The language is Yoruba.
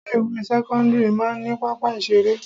Ilé ìwé sẹ́kọ́ńdírì máa ń ní pápá ìṣeré.